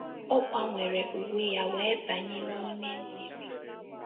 ọ gbanwere uwe ya wee banye n'ime mmiri